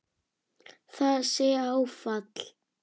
Það sé áfall.